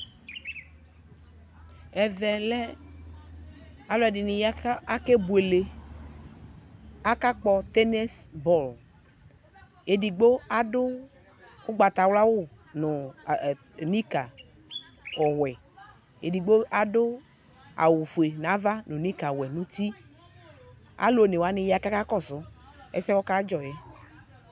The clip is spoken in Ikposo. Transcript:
Ɛvɛ lɛ aluɛdini ya ku akebuele akakpɔ tɛnisis bɔlu edigbo adu ugbatawla awu nu nika ɔwɛ edigbo adu awu ofue nu ava nika ɔwɛ nu uti alu onewani ya ku akakɔsu ɛsɛwa kadzɔ